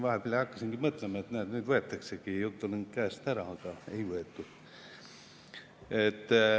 Vahepeal hakkasin siin mõtlema, et näed, nüüd võetaksegi jutulõng käest ära, aga ei võetud.